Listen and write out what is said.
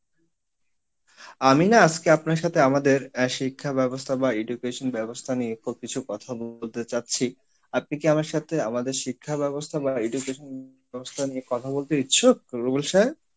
আমি না আজকে আপনার সাথে আমাদের আহ শিক্ষা ব্যবস্থা বা education ব্যবস্থা নিয়ে কিছু কথা বলতে যাচ্ছি, আপনি কি আমার সাথে আমাদের শিক্ষা ব্যবস্থা বা education ব্যবস্থা নিয়ে কথা বলতে ইচ্ছুক রুবেল সাহেব?